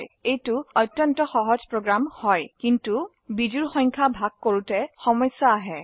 এটি অত্যন্ত সহজ প্ৰোগ্ৰাম কিন্তু বিজোড় সংখ্যা ভাগ কৰিবলৈ সমস্যা আছে